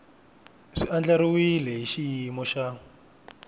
swi andlariwile hi xiyimo xa